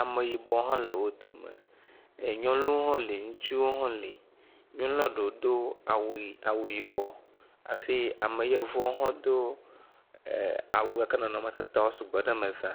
ameyibɔwo ha le wodome nyɔnuwo ha li ŋutsuwo ha li nyɔnu aɖewo do awu yibɔ hafi yevuawo ha do awu ke nɔnɔme tatawo sugbɔ ɖe eme za.